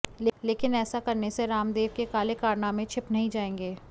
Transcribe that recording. लेकिन ऐसा करने से रामदेव के काले कारनामें छिप नहीं जाएंगे